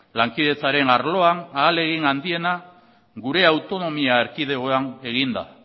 lankidetzaren arloan ahalegin handiena gure autonomia erkidegoan egin da